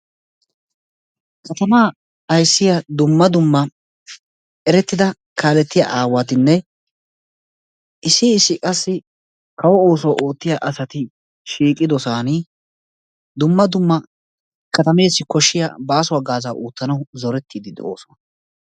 katamaa ayssiya dumma dumma erettida kaalettiya aawatinne issi issi qassi kawo ooso oottiyaa asati shiiqidoosaani dumma dumma katameessi koshshiya baaso hagaaza oottanawu zorettiidi de"osona.